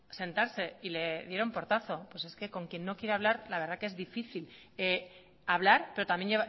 sentarse y le dieron portazo pues es que con quien no quiere hablar la verdad que es difícil hablar pero también